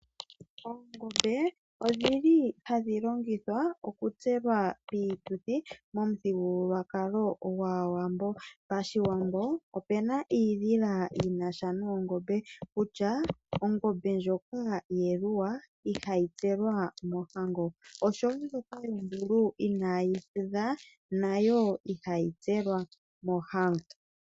Oongombe odhi li hadhi longithwa oku tselwa piituthi momuthigululwakalo gwAawambo. Pashiwambo opuna iidhila yina sha noongombe kutya, ongombe ndjoka yeluwa ihayi tselwa mohango osho wo ndjoka yondulu inaayi pwedha nayo ihayi tselwa mohango.